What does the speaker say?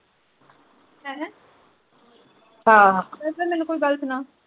ਹੈਂ ਅਹ ਫੇਰ ਮੈਨੂੰ ਕੋਈ ਗੱਲ ਸੁਣਾ